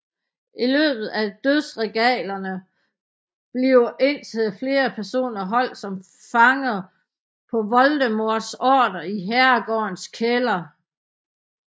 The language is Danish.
I løbet af Dødsregalierne bliver indtil flere personer holdt som fanger på Voldemorts ordre i herregårdens kælder